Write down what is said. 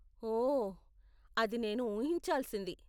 ఓహ్ , అది నేను ఊహించాల్సింది.